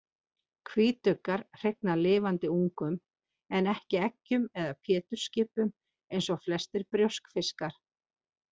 Hvítuggar hrygna lifandi ungum en ekki eggjum eða pétursskipum eins og flestir brjóskfiskar.